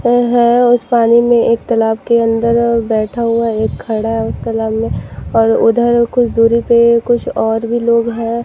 उस पानी में एक तालाब के अंदर और बैठा हुआ है एक खड़ा है उस तालाब मे और उधर कुछ दूरी पे कुछ और भी लोग है।